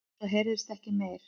Svo heyrðist ekkert meir.